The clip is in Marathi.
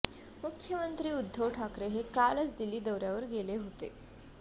मुख्यमंत्री उद्धव ठाकरे हे कालच दिल्ली दौऱ्यावर गेले होते